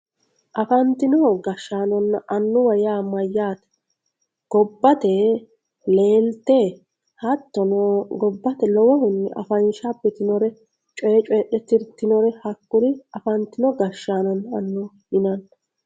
Afanitino gashanonna anuwa ya mayate gobatte lelitte hatinno gibayye lowohunni afansha adhitinore coyye coyidhe tiritinore hakuri afanitino gashanonna anuwa yinanni